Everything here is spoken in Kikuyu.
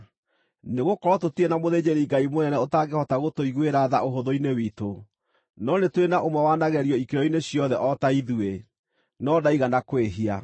Nĩgũkorwo tũtirĩ na mũthĩnjĩri-Ngai mũnene ũtangĩhota gũtũiguĩra tha ũhũthũ-inĩ witũ, no nĩ tũrĩ na ũmwe wanagerio ikĩro-inĩ ciothe o ta ithuĩ, no ndaigana kwĩhia.